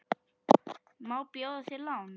Má bjóða þér lán?